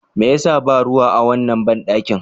Me ya sa ba ruwa a wannan banɗakin?